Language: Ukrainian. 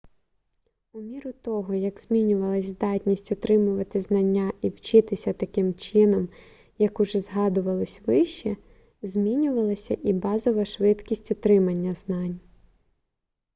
у міру того як змінювалася здатність отримувати знання і вчитися таким чином як уже згадувалося вище змінювалася і базова швидкість отримання знань